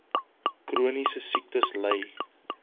chroniese siektes ly